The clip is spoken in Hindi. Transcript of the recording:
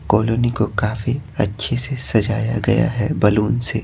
कॉलोनी को काफी अच्छे से सजाया गया है बैलून से।